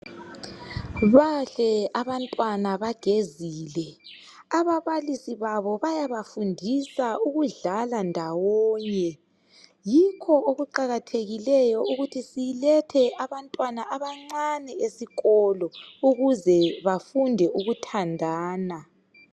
Bahle abantwana bagezile. Ababalisi babo bayabafundisa ukudlala ndawonye. Yikho okuqakathekileyo ukuthi silethe abantwana abancane ezikolo ukuze bafunde ukuthandana.